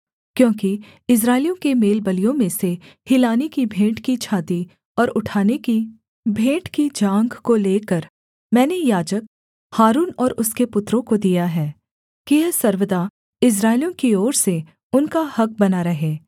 क्योंकि इस्राएलियों के मेलबलियों में से हिलाने की भेंट की छाती और उठाने की भेंट की जाँघ को लेकर मैंने याजक हारून और उसके पुत्रों को दिया है कि यह सर्वदा इस्राएलियों की ओर से उनका हक़ बना रहे